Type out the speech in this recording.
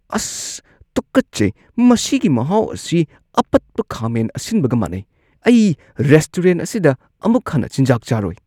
ꯑꯁ! ꯇꯨꯀꯠꯆꯩ! ꯃꯁꯤꯒꯤ ꯃꯍꯥꯎ ꯑꯁꯤ ꯑꯄꯠꯄ ꯈꯥꯃꯦꯟ ꯑꯁꯤꯟꯕꯒ ꯃꯥꯟꯅꯩ, ꯑꯩ ꯔꯦꯁꯇꯨꯔꯦꯟꯠ ꯑꯁꯤꯗ ꯑꯃꯨꯛ ꯍꯟꯅ ꯆꯤꯟꯖꯥꯛ ꯆꯥꯔꯣꯏ꯫